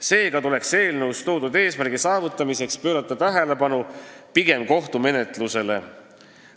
Seega tuleks eelnõus toodud eesmärkide saavutamiseks pöörata tähelepanu pigem kohtumenetlusele.